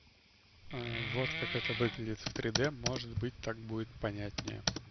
вот как это выглядит в три д может быть так будет понятнее